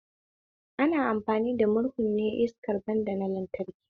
Ana amfani da murhun ne iskar banda na lantraki